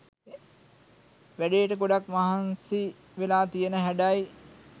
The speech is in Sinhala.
වැඩේට ගොඩක් මහන්සි වෙලා තියන හැඩයි.